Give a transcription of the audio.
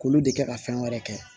K'olu de kɛ ka fɛn wɛrɛ kɛ